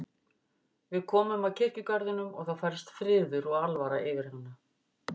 Við komum að kirkjugarðinum og þá færðist friður og alvara yfir hana.